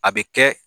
A bɛ kɛ